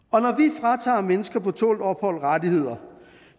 og mennesker på tålt ophold rettigheder